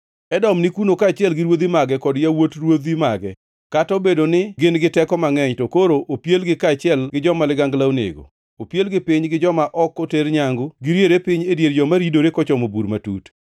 “Edom ni kuno, kaachiel gi ruodhi mage kod yawuot ruodhi mage. Kata obedo ni gin gi teko mangʼeny, to koro opielgi kaachiel gi joma ligangla onego. Opielgi piny gi joma ok oter nyangu, giriere piny e dier joma ridore kochomo bur matut.